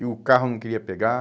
E o carro não queria pegar.